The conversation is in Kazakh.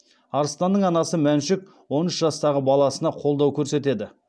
арыстанның анасы мәншүк он үш жастағы баласына қолдау көрсетеді